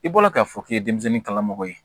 I bɔra k'a fɔ k'i ye denmisɛnnin kala mɔgɔ ye